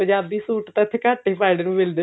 Punjabi suit ਤਾਂ ਉਥੇ ਘੱਟ ਪਾਉਣ ਨੂੰ ਮਿਲਦੇ ਨੇ